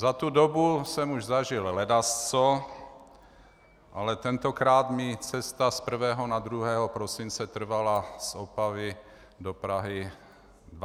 Za tu dobu jsem už zažil ledasco, ale tentokrát mi cesta z 1. na 2. prosince trvala z Opavy do Prahy 26 hodin.